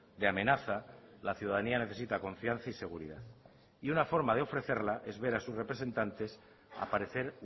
de amenaza la ciudadanía necesita confianza y seguridad y una forma de ofrecerla es ver a sus representantes aparecer